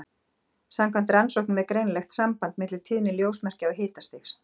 Samkvæmt rannsóknum er greinilegt samband milli tíðni ljósmerkja og hitastigs.